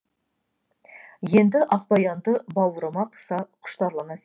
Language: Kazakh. енді ақбаянды бауырыма қыса құштарлана сүйдім